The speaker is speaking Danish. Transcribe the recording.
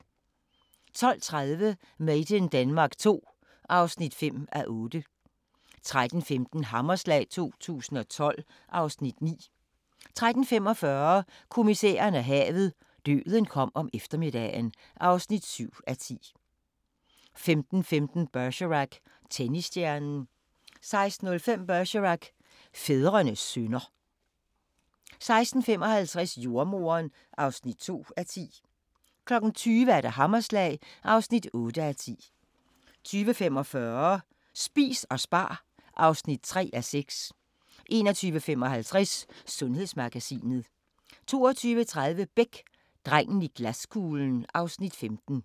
12:30: Made in Denmark II (5:8) 13:15: Hammerslag 2012 (Afs. 9) 13:45: Kommissæren og havet: Døden kom om eftermiddagen (7:10) 15:15: Bergerac: Tennisstjernen 16:05: Bergerac: Fædrene synder 16:55: Jordemoderen (2:10) 20:00: Hammerslag (8:10) 20:45: Spis og spar (3:6) 21:55: Sundhedsmagasinet 22:30: Beck: Drengen i glaskuglen (Afs. 15)